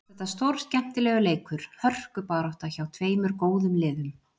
Mér fannst þetta stórskemmtilegur leikur, hörkubarátta, hjá tveimur góðum liðum.